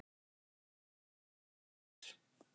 Og hún er.